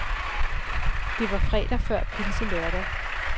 Det var fredag før pinselørdag.